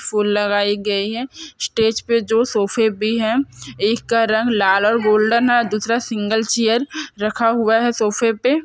फूल लगाई गई है स्टेज पे जो सोफे भी है एक का रंग लाल और गोल्डन है दूसरा सिंगल चेयर रखा हुआ है सोफे पे --